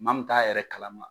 Maa min bɛ t'a yɛrɛ kalama